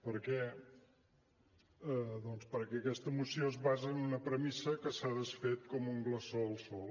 per què doncs perquè aquesta moció es basa en una premissa que s’ha desfet com un glaçó al sol